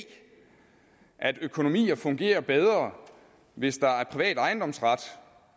at økonomier fungerer bedre hvis der er privat ejendomsret